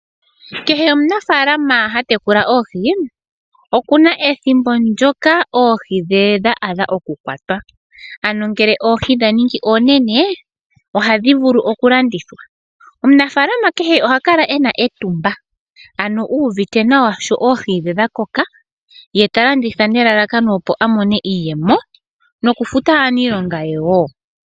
Kehe omunafaalama ha tekula oohi okuna ethimbo ndyoka oohi dhe dha gwana oku kwatwa, ano ngele oohi dha ningi oonene ohadhi vulu oku landithwa. Omunafaalama kehe oha kala ena etumba, ano uuvite nawa sho oohi dhe dha koka, ye ta landitha nelalakano opo a mone iiyemo noku futa aaniilonga ye wo.